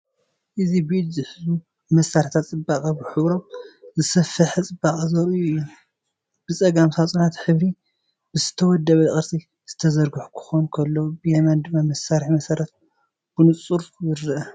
እዚ ብኢድ ዝሕዙ መሳርሒታት ጽባቐ ብሕብሮም ዝሰፍሕ ጽባቐ ዘርእዩ እዮም። ብጸጋም፡ ሳጹናት ሕብሪ ብዝተወደበ ቅርጺ ዝተዘርግሑ ክኾኑ ከለዉ፡ ብየማን ድማ መሳርሒ መሰረት ብንጹር ይረአ።